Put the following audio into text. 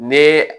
Ni